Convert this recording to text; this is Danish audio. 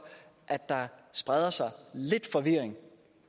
at der spreder sig lidt forvirring